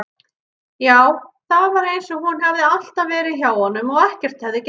Já, það var einsog hún hefði alltaf verið hjá honum og ekkert hefði gerst.